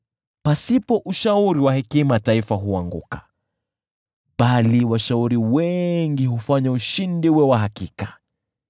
Pasipo ushauri wa hekima taifa huanguka, bali washauri wengi hufanya ushindi uwe wa hakika.